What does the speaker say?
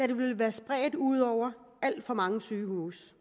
de ville være spredt ud over alt for mange sygehuse